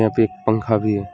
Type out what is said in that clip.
यहां पे एक पंखा भी है।